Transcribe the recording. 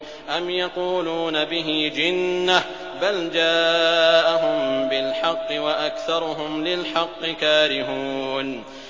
أَمْ يَقُولُونَ بِهِ جِنَّةٌ ۚ بَلْ جَاءَهُم بِالْحَقِّ وَأَكْثَرُهُمْ لِلْحَقِّ كَارِهُونَ